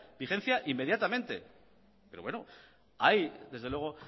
vigencia inmediatamente pero bueno ahí desde luego